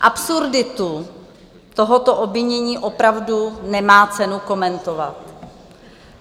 Absurditu tohoto obvinění opravdu nemá cenu komentovat.